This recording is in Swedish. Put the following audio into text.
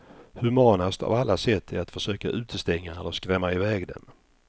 Humanast av alla sätt är att försöka utestänga eller skrämma iväg dem.